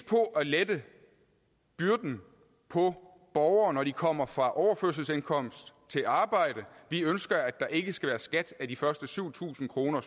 på at lette byrden på borgere når de kommer fra overførselsindkomst til arbejde vi ønsker at der ikke skal være skat af de første syv tusind kroner